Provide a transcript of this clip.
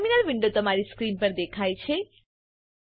terminal window તમારી screen પર દેખાય છે